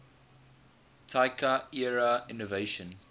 taika era innovation